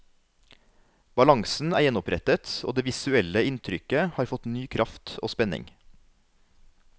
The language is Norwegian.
Balansen er gjenopprettet og det visuelle inntrykket har fått ny kraft og spenning.